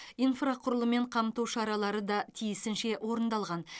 инфрақұрылыммен қамту шаралар да тиісінше орындалған